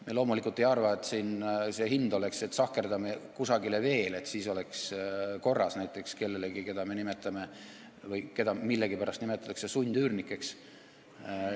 Ma loomulikult ei arva, et see hind siin oleks see, et sahkerdame kusagile veel, et siis oleks korras, näiteks sahkerdame kellelegi, keda millegipärast nimetatakse sundüürnikeks.